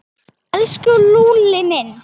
Elsku Lúlli minn.